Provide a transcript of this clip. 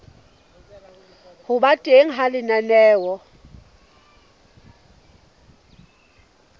ho ba teng ha lenaneo